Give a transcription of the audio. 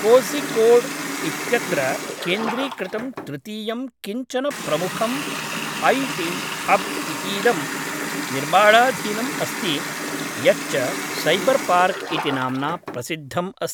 कोझिकोड् इत्यत्र केन्द्रीकृतं तृतीयं किञ्चन प्रमुखं ऐ टी हब् इतीदं निर्माणाधीनम् अस्ति यच्च सैबर् पार्क् इति नाम्ना प्रसिद्धम् अस्ति।